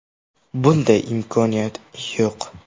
Bunday imkoniyat yo‘q.